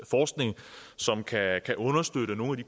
forskning som kan kan understøtte nogle af